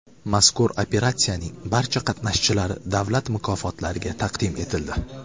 Mazkur operatsiyaning barcha qatnashchilari davlat mukofotlariga taqdim etildi.